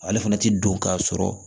Ale fana tɛ don k'a sɔrɔ